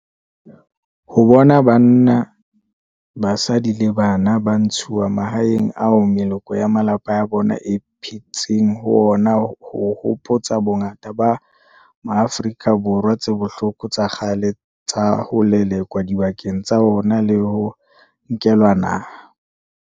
Ho bona banna, basadi le bana ba ntshuwa mahaeng ao meloko ya malapa a bona e phetseng ho ona ho hopotsa bongata ba Maafrika Borwa tse bohloko tsa kgale tsa ho lelekwa dibakeng tsa ona le ho nkelwa naha.